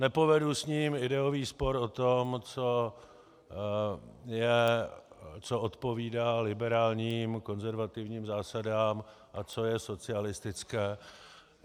Nepovedu s ním ideový spor o tom, co odpovídá liberálním konzervativním zásadám a co je socialistické.